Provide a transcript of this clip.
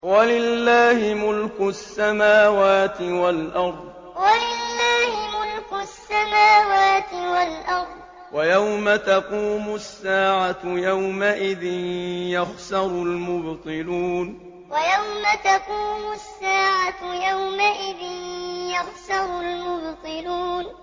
وَلِلَّهِ مُلْكُ السَّمَاوَاتِ وَالْأَرْضِ ۚ وَيَوْمَ تَقُومُ السَّاعَةُ يَوْمَئِذٍ يَخْسَرُ الْمُبْطِلُونَ وَلِلَّهِ مُلْكُ السَّمَاوَاتِ وَالْأَرْضِ ۚ وَيَوْمَ تَقُومُ السَّاعَةُ يَوْمَئِذٍ يَخْسَرُ الْمُبْطِلُونَ